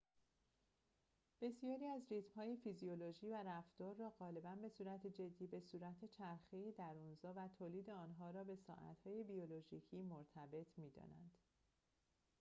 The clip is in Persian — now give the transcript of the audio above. بسیاری ریتم‌های فیزیولوژی و رفتار را غالباً به صورت جدی به وجود چرخه درون‌زا و تولید آن‌ها را به ساعت‌های بیولوژیکی مرتبط می‌دانند